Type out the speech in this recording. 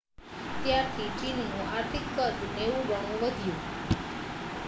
ત્યારથી ચીનનું આર્થિક કદ 90 ગણું વધ્યું